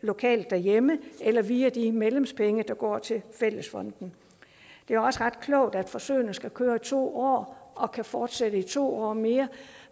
lokalt derhjemme eller via de medlemspenge der går til fællesfonden det er også ret klogt at forsøgene skal køre to år og kan fortsætte i to år mere